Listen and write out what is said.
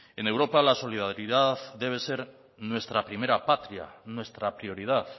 en europa la solidaridad debe ser nuestra primera patria nuestra prioridad